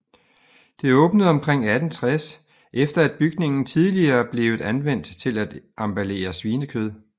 Det åbnde omkring 1860 efter at bygningen tidligere blevet anvendt til at emballere svinekød